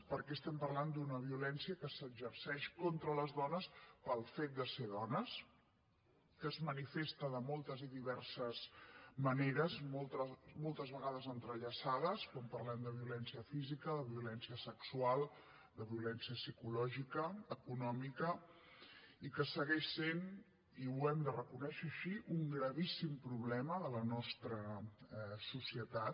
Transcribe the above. perquè estem parlant d’una violència que s’exerceix contra les dones pel fet de ser dones que es manifesta de moltes i diverses maneres moltes vegades entrellaçades quan parlem de violència física de violència sexual de violència psicològica econòmica i que segueix sent i ho hem de reconèixer així un gravíssim problema de la nostra societat